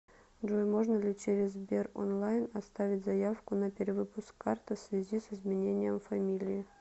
джой можно ли через сбер онлайн оставить заявку на перевыпуск карты в связи с изменением фамилии